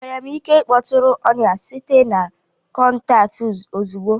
Enwere m ike ịkpọtụrụ ọnya site na kọntaktị ozugbo?